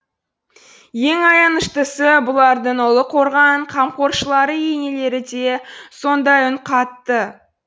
ең аяныштысы бұлардың ұлы қорған қамқоршылары енелері де сондай үн қатты